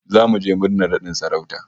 Zamu je murnar nadin sarauta